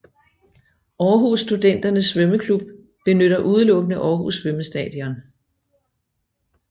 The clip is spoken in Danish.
Aarhus Studenternes Svømmeklub benytter udelukkende Aarhus Svømmestadion